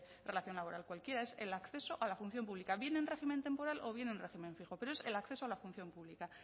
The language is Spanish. relación laboral cualquiera es el acceso a la función pública bien en régimen temporal o bien en régimen fijo pero es el acceso a la función pública